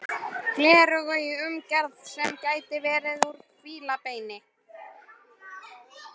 Gleraugu í umgerð sem gæti verið úr fílabeini.